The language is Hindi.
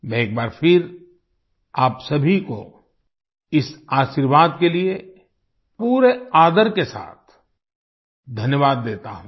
मैं एक बार फिर आप सभी को इस आशीर्वाद के लिए पूरे आदर के साथ धन्यवाद देता हूं